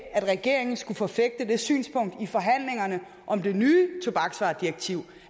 at regeringen skulle forfægte det synspunkt i forhandlingerne om det nye tobaksvaredirektiv